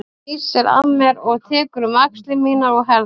Hún snýr sér að mér og tekur um axlir mínar og herðar.